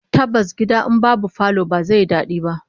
Tabbas gida in babu falo ba zai yi dadi ba